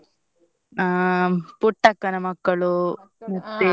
ಅಹ್ ಪುಟ್ಟಕ್ಕನ ಮಕ್ಕಳು ಮತ್ತೆ.